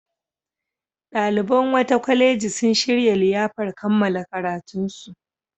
Ɗaliban wata kwaleji sun shirya liyafar kammala karatunsu.